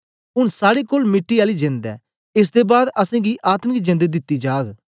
ऊन साड़े कोल मिट्टी आली जेंद ऐ एस दे बाद असेंगी आत्मिक जेंद दिती जाग